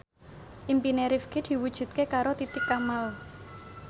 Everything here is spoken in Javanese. impine Rifqi diwujudke karo Titi Kamal